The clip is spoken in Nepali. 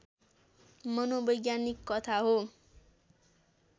मनोवैज्ञानिक कथा हो